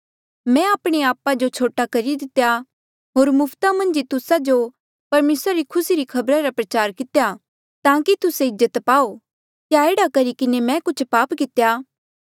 मैं आपणे आपा जो छोटा करी दितेया होर मुफ्ता मन्झ ही तुस्सा जो परमेसरा री खुसी री खबर रा प्रचार कितेया ताकि तुस्से इज्जत पाओ क्या एह्ड़ा करी किन्हें मै कुछ पाप कितेया